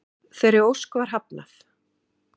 Þeirri ósk var hafnað